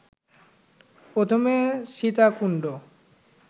প্রথমে সীতাকুণ্ড